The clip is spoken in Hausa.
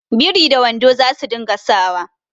Biri da wando za su dinga sa wa